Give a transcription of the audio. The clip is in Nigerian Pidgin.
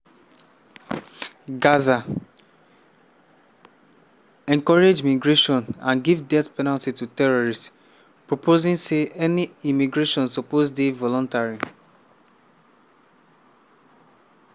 [gaza]… encourage migration and give death penalty to terrorists” proposing say any emigration suppose dey voluntary.